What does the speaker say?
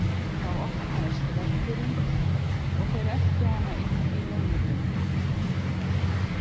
Þá opnaðist veggurinn og þeir eltu hana inn í leynigöng.